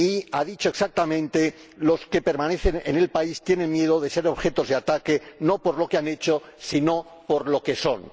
ha dicho exactamente los que permanecen en el país tienen miedo de ser objeto de ataques no por lo que han hecho, sino por lo que son.